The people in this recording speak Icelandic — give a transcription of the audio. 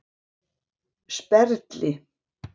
Sperðli